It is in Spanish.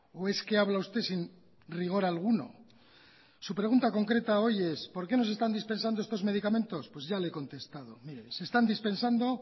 o es que habla usted sin rigor alguno su pregunta concreta hoy es por qué no se están dispensando estos medicamentos pues ya le he contestado mire se están dispensando